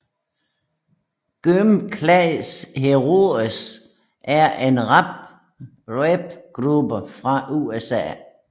Gym Class Heroes er en rapgruppe fra USA